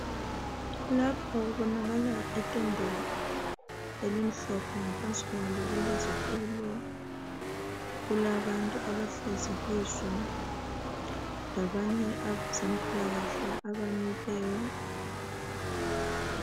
Lapha kubonakala itende elimhlophe ngaphansi kwalo kulezitulo kulabantu abahlezi kizo labanye abezempilakahle abamileyo.